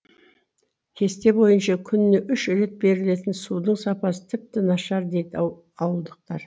кесте бойынша күніне үш рет берілетін судың сапасы тіпті нашар дейді ауылдықтар